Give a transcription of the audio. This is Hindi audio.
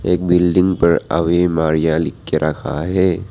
एक बिल्डिंग पर अवि मारिया लिख के रखा है।